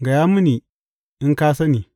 Gaya mini, in ka sani.